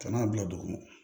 Ka n'a bila dugu ma